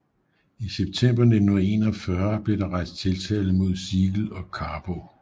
I september 1941 blev der rejst tiltale mod Siegel og Carbo